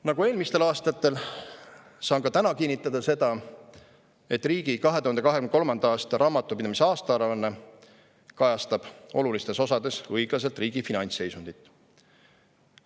Nagu eelmistel aastatel, saan ka täna kinnitada seda, et riigi 2023. aasta raamatupidamise aastaaruanne kajastab olulistes osades õiglaselt riigi finantsseisundit.